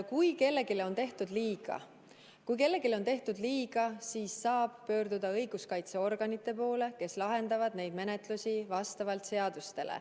Kui kellelegi on tehtud liiga, siis ta saab pöörduda õiguskaitseorganite poole, kes lahendavad neid juhtumeid vastavalt seadustele.